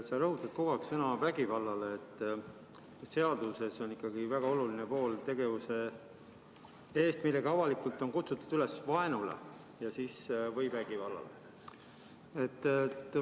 Sa rõhutad kogu aeg sõna "vägivallale", aga seaduses on ikkagi väga oluline pool: "tegevuse eest, millega avalikult on kutsutud üles vaenule või vägivallale".